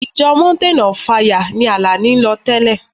Ìjọ mountain of fire ni Àlàní ń lọ tẹ́lẹ̀.